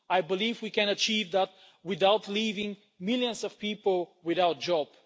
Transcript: I believe we can achieve that without leaving millions of people without jobs.